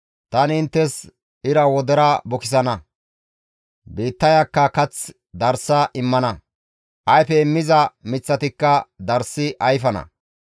tani inttes ira wodera bukisana; biittayakka kath darsa immana; ayfe immiza miththatikka darssi ayfana.